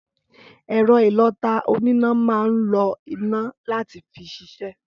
Ẹrọ ìlọtá ònìná maa ńlo ìná làtí fi ṣisẹ.